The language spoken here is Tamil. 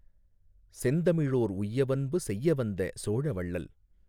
செந்தமிழோர் உய்யவன்பு செய்யவந்த சோழவள்ளல்